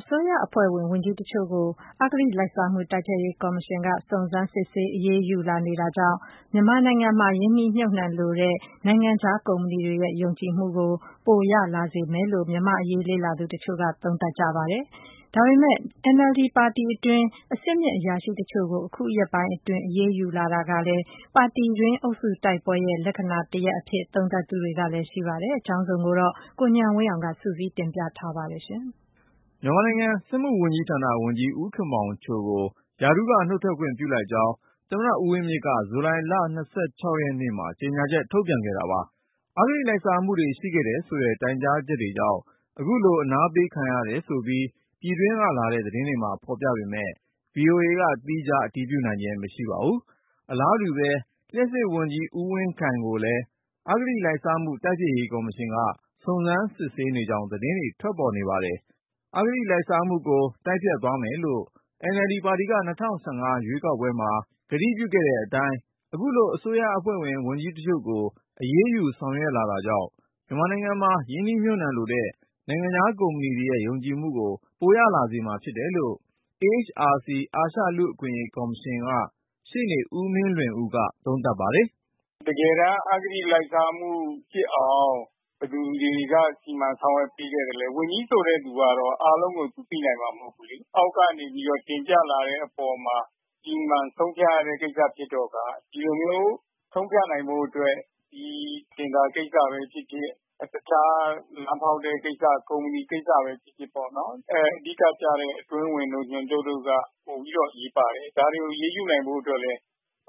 အစိုးရအဖွဲ့ဝင် ဝန်ကြီးတချို့ကို အဂတိလိုက်စားမှု တိုက်ဖျက်ရေးကော်မရှင်က စုံစမ်းစစ်ဆေး အရေးယူမှု လုပ်ဆောင်လာတာကြောင့် မြန်မာနိုင်ငံမှာ ရင်းနှီးမြှုပ်နှံလိုတဲ့ နိုင်ငံခြားကုမ္ပဏီတွေရဲ့ ယုံကြည်မှုကို ပိုရလာစေမှာ ဖြစ်တယ်လို့ မြန်မာ့အရေးလေ့လာသူ တချို့က သုံးသပ်သလို NLD ပါတီတွင်း အဆင်မြင့်အရာရှိတချို့ကို အခုရက်ပိုင်းအတွင်း အရေးယူမှု လုပ်ဆောင်လာတာဟာ ပါတီတွင်း အုပ်စုတိုက်ပွဲရဲ့ လက္ခဏာ တရပ် ဖြစ်တယ်လို့ သုံးသပ်သူတွေလည်းရှိပါတယ်။ အကြောင်းစုံကိုတော့ ကိုဉာဏ်ဝင်းအောင်က စုစည်းတင်ပြထားပါတယ်။ မြန်မာနိုင်ငံ စက်မှုဝန်ကြီးဌာနဝန်ကြီး ဦးခင်မောင်ချိုကို ရာထူးက နုတ်ထွက်ခွင့်ပြုလိုက်ကြောင်း သမ္မတဦးဝင်းမြင့်က ဇူလိုင်လ ၂၆ ရက်နေ့မှာ ကြေညာချက် ထုတ်ပြန်ခဲ့တာပါ။ အဂတိလိုက်စားမှုတွေ ရှိခဲ့တယ်ဆိုတဲ့ တိုင်ကြားချက်ကြောင့် အခုလို အနားပေးခံရတယ်ဆိုပြီး ပြည်တွင်းက လာတဲ့ သတင်းတွေမှာဖေါ်ပြပေမယ့် VOA ကသီးခြား အတည်ပြုနိုင်ခြင်း မရှိပါဘူး။ အလားတူပဲ လျှပ်စစ်ဝန်ကြီး ဦးဝင်းခိုင်ကိုလည်း အဂတိ လိုက်စားမှု တိုက်ဖျက်ရေးကော်မရှင်က စုံစမ်းစစ်ဆေးနေကြောင်း သတင်းတွေ ထွက်ပေါ်နေပါတယ်။ အဂတိလိုက်စားမှုကို တိုက်ဖျက်သွားမယ်လို့ NLD ပါတီက ၂၀၁၅ ရွေးကောက်ပွဲမှာ ကတိပြုခဲ့တဲ့အတိုင်း ခုလို အစိုးရအဖွဲ့ဝင် ဝန်ကြီးတချို့ကို အရေးယူ ဆောင်ရွက်လာတာကြောင့် မြန်မာနိုင်ငံမှာ ရင်းနှီးမြှုပ်နှံလိုတဲ့ နိုင်ငံခြားကုမ္ပဏီတွေရဲ့ ယုံကြည်မှုကို ပိုရလာစေမှာ ဖြစ်တယ်လို့ AHRC အာရှလူ့အခွင့်အရေးကော်မရှင်က ရှေ့နေ ဦးမင်းလွင်ဦးက သုံးသပ်ပါတယ်။ "တကယ်က အာဂတိလိုက်စားမှုဖြစ်အောင် ဘယ်သူတွေက စီမံဆောင်ရွက်ပေးခဲ့သလဲ ဝန်ကြီးဆိုတဲ့သူက အားလုံးကို သူသိနိုင်မှာ မဟုတ်ဘူးလေ။ အောက်ကနေပြီးတော့ တင်ပြလာတဲ့အပေါ်မှာ စီမံဆုံးဖြတ်ရတဲ့ ကိစ္စဖြစ်တော့ကား ဒီလိုမျိုး ဆုံးဖြတ်နိုင်ဖို့အတွက် ဒီတင်ဒါ ကိစ္စပဲဖြစ်ဖြစ်၊ တခြား လမ်းဖောက်တဲ့ကိစ္စ၊ ကုမ္ပဏီကိစ္စပဲ ဖြစ်ဖြစ်ပေါ့.... အဓိကကျတဲ့ အတွင်းဝန်တို့ ညွှန်ချုပ်တို့က ပိုပြီးတော့ အရေးပါတယ်။ ဒါတွေကို အရေးယူနိုင်ဖို့အတွက်လည်း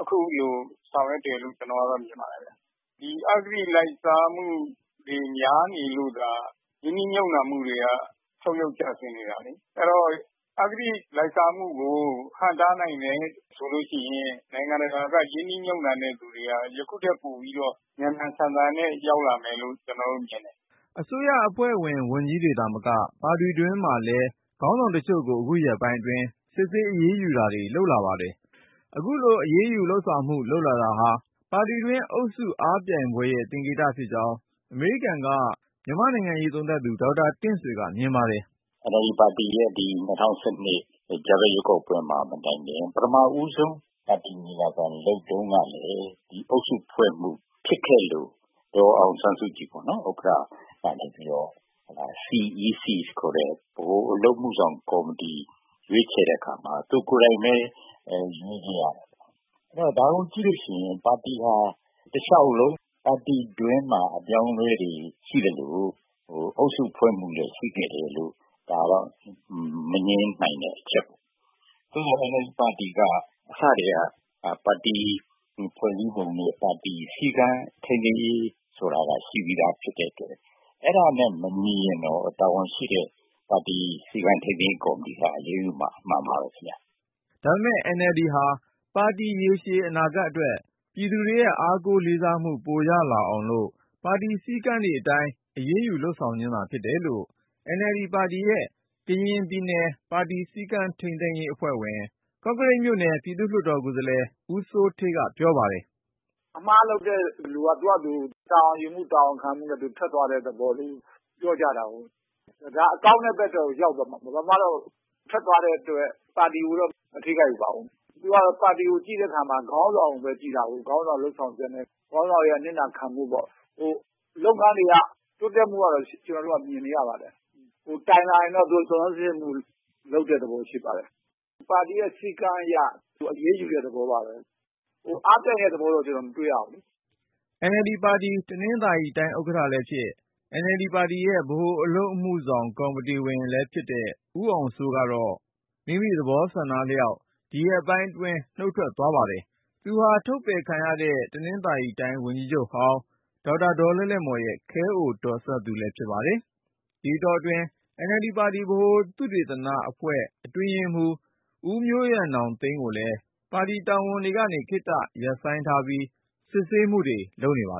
အခုလို ဆောင်ရွက်တယ်လို့ ကျနော်ကတော့ မြင်ပါတယ်ခင်ဗျာ။ ဒီ အာဂတိလိုက်စားမှုတွေ များနေလို့သာ ရင်းနှီးမြှုပ်နှံမှုတွေက ဆုတ်ယုတ်ကျဆင်းနေတာလေ။ အဲဒီတော့ အာဂတိလိုက်စားမှုကို ဟန့်တားနိုင်တယ်ဆိုလို့ရှိရင် နိုင်ငံတကာက ရင်းနှီးမြှုပ်နှံတဲ့သူတွေက ယခုထက်ပိုပြီးတော့ မြန်မြန်ဆန်ဆန်နဲ့ ရောက်လာမယ်လို့ ကျနော်တော့ မြင်တယ်။" အစိုးရအဖွဲ့ ဝန်ကြီးတွေသာမက ပါတီတွင်းမှာလည်း ခေါင်းဆောင်တချို့ကို အခုရက်ပိုင်းအတွင်း စစ်ဆေးအရေးယူတာတွေ လုပ်လာပါတယ်။ အခုလို ပါတီတွင်း အရေးယူဆောင်ရွက်မှုတွေ လုပ်လာတာဟာ ပါတီတွင်း အုပ်စုအားပြိုင်ပွဲရဲ့ သင်္ကေတဖြစ်ကြောင်း အမေရိကန်က မြန်မာ့နိုင်ငံရေးသုံးသပ်သူ ဒေါက်တာ တင့်ဆွေက မြင်ပါတယ်။ "NLD ပါတီရဲ့ ဒီ ၂၀၁၂ ကြားဖြတ်ရွေးကောက်ပွဲမှာ မတိုင်ခင် ပထမဦးဆုံး ပါတီညီလာခံလုပ်တုန်းကလည်း အုပ်စုဖွဲ့မှုဖြစ်ခဲ့လို့ ဒေါ်အောင်ဆန်းစုကြည်ပေါ့နော်.... ဥက္ကဋ္ဌကနေပြီးတော့ CEC ခေါ်တဲ့ ဗဟိုအလုပ်အမှုဆောင်ကော်မတီ ရွေးချယ်တဲ့အခါမှာ သူကိုယ်တိုင်ပဲ ရွေးခဲ့ရတယ်ပေါ့။ အဲဒီတော့ ဒါကိုကြည့်လို့ရှိရင် ပါတီဟာ တလျှောက်လုံး ပါတီတွင်းမှာ အပြောင်းအလဲတွေရှိသလို အုပ်စုဖွဲ့မှုလည်း ရှိခဲ့တယ်လို့ ဒါတော့ မငြင်းနိုင်တဲ့ အချက်ပေါ့။ NLD ပါတီက အစထဲက ပါတီဖွဲ့စည်းပုံနဲ့ ပါတီ စည်းကမ်းထိန်းသိမ်းရေးဆိုတာက ရှိပြီးသားဖြစ်တဲ့အတွက် အဲဒါနဲပ မညီရင်တော့ တာဝန်ရှိတဲ့ ပါတီ စည်းကမ်းထိန်းသိမ်းရေး ကော်မတီက အရေးယူမှာ အမှန်ပါပဲ ခင်ဗျ။" ဒါပေမဲ့ NLD ပါတီဟာ ပါတီရေရှည်အနာဂတ်အတွက် ပြည်သူတွေရဲ့အားကိုးလေစားမှု ပိုရအောင်လို့ ပါတီစည်းကမ်းတွေအတိုင်း အရေးယူ လုပ်ဆောင်ခြင်းသာ ဖြစ်တယ်လို့ NLD ပါတီရဲ့ ကရင်ပြည်နယ် ပါတီစည်းကမ်းထိန်းသိမ်းရေး အဖွဲ့ဝင် ကော့ကရိတ်ပြည်သူ့လွှတ်တော် ကိုယ်စားလှယ် ဦးစိုးဌေးက ပြောပါတယ်။ "အမှားလုပ်တဲ့လူက သူဟာသူ တာဝန်ယူမှု၊ တာဝန်ခံမှုနဲ့ ထွက်သွားတဲ့သဘောမျိုး ပြောကြတာကိုး။ ဒါကောင်းတဲ့ဘက်ထဲကို ရောက်သွားတာပေါ့။ ဘာမှတော့ ထွက်သွားတဲ့အတွက် ပါတီကိုတော့ မထိခိုက်ပါဘူး။ သူက ပါတီကို ကြည့်တဲ့အခါမှာ ခေါင်းဆောင်ကိုပဲကြည့်တာကိုး.. ခေါင်းဆောင်လုပ်ဆောင်ချက်နဲ့ ခေါင်းဆောင်ရဲ့ အနစ်နာခံမှုပေါ့။ လုပ်ငန်းတွေက တိုးတက်မှုကတော့ ကျနော်တို့က မြင်နေရပါတယ်။ တိုင်လာရင်တော့ စုံစမ်းစစ်ဆေးမှုလုပ်တဲ့သဘော ရှိပါတယ်။ ပါတီရဲ့ စည်းကမ်းအရ အရေးယူတဲ့ သဘောပါပဲ။ အားပြိုင်တဲ့ သဘောတော့ ကျနော်မတွေ့ရဘူးလေ။" NLD ပါတီ တနင်္သာရီတိုင်း ဥက္ကဋ္ဌလည်းဖြစ် NLD ပါတီရဲ့ဗဟိုအလုပ်အမှုဆောင် ကော်မတီဝင် လည်းဖြစ်တဲ့ ဦးအောင်စိုးကတော့ မိမိ သဘောအလျှောက် ဒီရက်ပိုင်းအတွင်း နုတ်ထွက်သွားပါတယ်။ သူဟာ ထုတ်ပယ်ခံရတဲ့ တနင်္သာရီတိုင်း ဝန်ကြီးချုပ်ဟောင်း ဒေါက်တာ ဒေါ် လဲ့လဲ့မော်ရဲ့ ခဲအိုတော်စပ်သူ ဖြစ်ပါတယ်။ ဒီအတောတွင်း NLD ပါတီ ဗဟိုသုတေသနအဖွဲ့ အတွင်းရေးမှူး ဦးမျိုးရန်နောင်သိန်းကိုလည်း ပါတီ တာဝန်တွေကနေ ခေတ္တရပ်ဆိုင်းထားပြီး စစ်ဆေးမှုလုပ်နေပါ